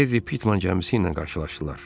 Gerry Pitman gəmisi ilə qarşılaşdılar.